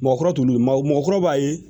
Mɔgɔkɔrɔ t'olu ye maa mɔgɔkɔrɔba ye